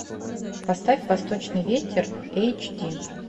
поставь восточный ветер эйч ди